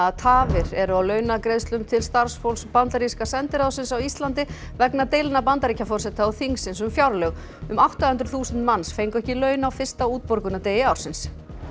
tafir eru á launagreiðslum til starfsfólks bandaríska sendiráðsins á Íslandi vegna deilna Bandaríkjaforseta og þingsins um fjárlög um átta hundruð þúsund manns fengu ekki laun á fyrsta útborgunardegi ársins